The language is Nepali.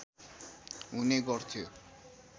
हुने गर्थ्यो